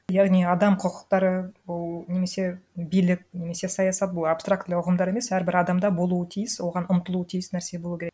яғни адам құқықтары бұл немесе билік немесе саясат бұл абстрактілі ұғымдар емес әрбір адамда болуы тиіс оған ұмтылуы тиіс нәрсе болу керек